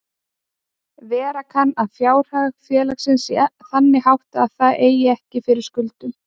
Vera kann að fjárhag félags sé þannig háttað að það eigi ekki fyrir skuldum.